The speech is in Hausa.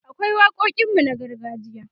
akwai waƙoƙin mu na gargajiya